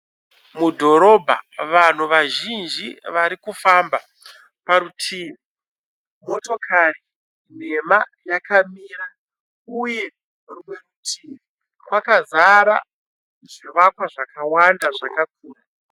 Mudhorobha, vanhu vazhinji vari kufamba. Parutivi mototikari nhema yakamira uye rumwe rutivi kwakazara zvivakwa zvakawanda zvakakura.